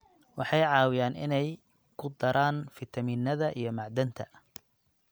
Waxay caawiyaan inay ku daraan fiitamiinnada iyo macdanta.